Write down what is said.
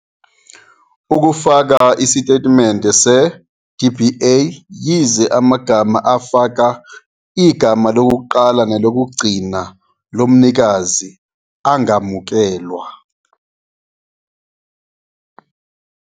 ukufaka isitatimende se-DBA, yize amagama afaka igama lokuqala nelokugcina lomnikazi angamukelwa.